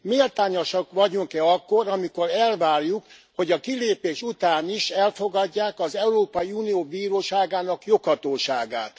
Méltányosak vagyunk e akkor, amikor elvárjuk, hogy a kilépés után is elfogadják az Európai Unió Bíróságának joghatóságát?